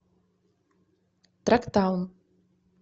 трактаун